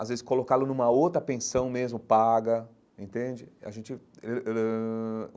às vezes colocá-lo numa outra pensão mesmo, paga, entende? a gente